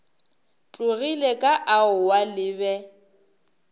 tlogile ka aowa le be